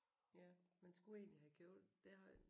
Ja man skulle egentlig have købt det har